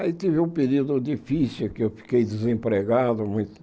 Aí tive um período difícil, que eu fiquei desempregado muito